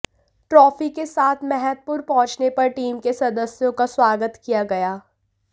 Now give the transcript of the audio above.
trophy के साथ मैहतपुर पहुंचने पर टीम के सदस्यों का स्वागत किया गया